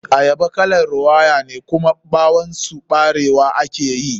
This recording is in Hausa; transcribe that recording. Ayaba kalar rawayane, kuma ɓawon su ɓarewa ake yi.